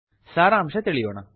ಸಾರಾಂಶ ತಿಳಿಯೋಣ